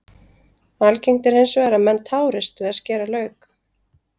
Algengt er hins vegar að menn tárist við að skera lauk.